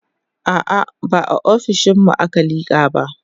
a'a ba a ofishinmu aka liƙa ba